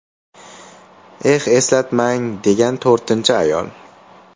Eh, eslatmang”, degan to‘rtinchi ayol.